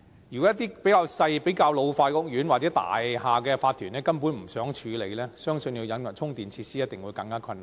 如果一些較小和老化的屋苑，又或大廈的法團根本不想處理，相信要引入充電設施必定更為困難。